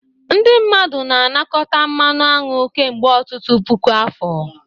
Ndị mmadụ na-anakọta mmanụ aṅụ kemgbe ọtụtụ puku afọ.